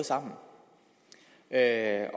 som er en